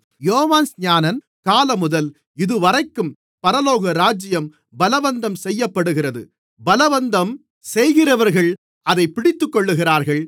யோவான்ஸ்நானன் காலமுதல் இதுவரைக்கும் பரலோகராஜ்யம் பலவந்தம் செய்யப்படுகிறது பலவந்தம் செய்கிறவர்கள் அதைப் பிடித்துக்கொள்ளுகிறார்கள்